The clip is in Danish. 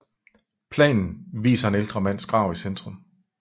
Planen viser en ældre mands grav i centrum